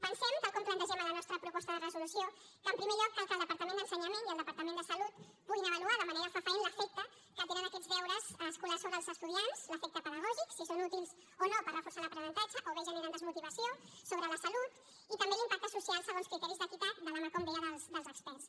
pensem tal com plantegem en la nostra proposta de resolució que en primer lloc cal que el departament d’ensenyament i el departament de salut puguin avaluar de manera fefaent l’efecte que tenen aquests deures escolars sobre els estudiants l’efecte pedagògic si són útils o no per reforçar l’aprenentatge o bé generen desmotivació sobre la salut i també l’impacte social segons criteris d’equitat de la mà com deia dels experts